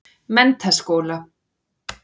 Menntaskóla